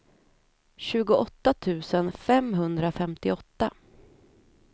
tjugoåtta tusen femhundrafemtioåtta